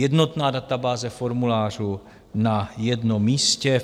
Jednotná databáze formulářů na jednom místě.